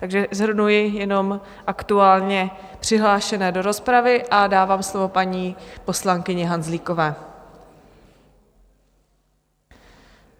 Takže shrnuji jenom aktuálně přihlášené do rozpravy a dávám slovo paní poslankyni Hanzlíkové.